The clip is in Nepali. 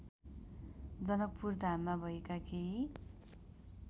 जनकपुरधाममा भएका केही